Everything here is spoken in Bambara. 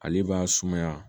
Ale b'a sumaya